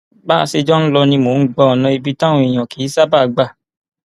bá a ṣe jọ ń lọ ni mò ń gba ọnà ibi táwọn èèyàn kì í ṣààbà gbà